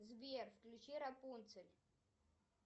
сбер включи рапунцель